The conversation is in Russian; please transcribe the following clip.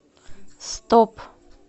стоп